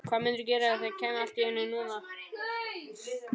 Hvað mundirðu gera ef þeir kæmu allt í einu núna?